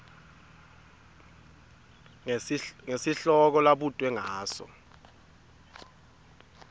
ngesihloko labutwe ngaso